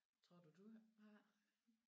Tror du du har?